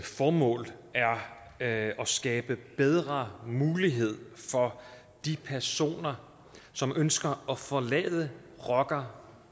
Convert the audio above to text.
formål er at skabe bedre mulighed for de personer som ønsker at forlade rocker